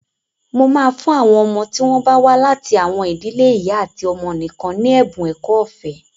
Mo máa fún àwọn ọmọ tí wọ́n bá wá láti àwọn ìdílé ìyá àti ọmọ nìkan ní ẹ̀bun ẹ̀kọ́ ọ̀fẹ́.